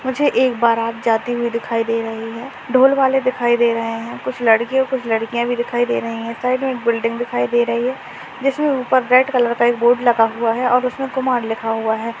मुझे एक बारात जाती हुई दिखाई दे रही है ढ़ोल वाले दिखाई दे रहे है कुछ लड़के और लड़किया भी दिखाई दे रही है साइड मे एक बिल्डिंग दिखाई दे रही है जिसमे उपर एक रेड कलर का बोर्ड लगा हुआ है और उसमे कुमार लिखा हुआ है।